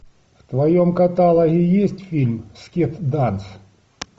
в твоем каталоге есть фильм скет данс